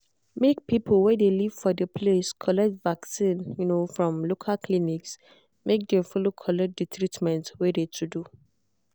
make people wey de live for the place collect vaccin um from local clinic make dem follow collect de treatment wey de to do.